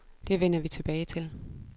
Det vender vi tilbage til.